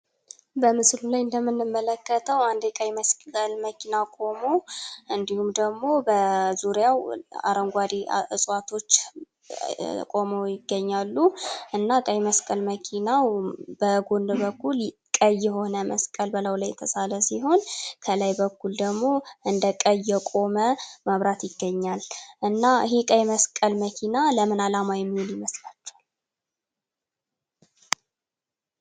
በምስሉ ላይ እንደምንመለከተው አንድ የቀይ መስቀል መኪና ቁመው እንዲሁም ደግሞ በዙሪያው አረንጓዴ ዕጽዋቶች ቆሞ ይገኛሉ እና ቀይ መስቀል መኪናው በጎን በኩል ቀይ የሆነ መስቀል በላዩ ላይ የተሳለ ሲሆን በላዩ ላይ እንደ ቀይ የሆነ የቆመ መብራት ይታያል እና ይህ የቀይ መስቀል መኪና ለምን አላማ የሚውል ይመስላቹሃል?